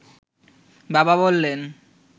বাবা বললেন